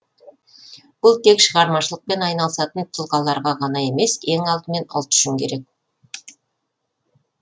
бұл тек шығармашылықпен айналысатын тұлғаларға ғана емес ең алдымен ұлт үшін керек